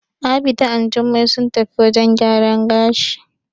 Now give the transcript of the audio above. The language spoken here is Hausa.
Abida and Jummai sun tafi wajen gyaran gashi.